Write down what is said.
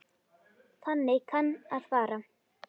Þannig kann að fara.